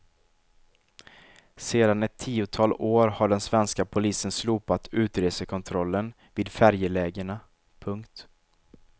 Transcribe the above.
Sedan ett tiotal år har den svenska polisen slopat utresekontrollen vid färjelägena. punkt